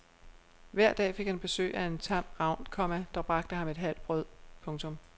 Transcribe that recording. Hver dag fik han besøg af en tam ravn, komma der bragte ham et halvt brød. punktum